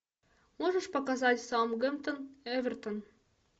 можешь показать саутгемптон эвертон